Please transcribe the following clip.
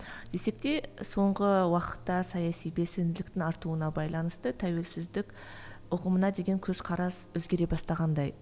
десек те соңғы уақытта саяси белсенділіктің артуына байланысты тәуелсіздік ұғымына деген көзқарас өзгере бастағандай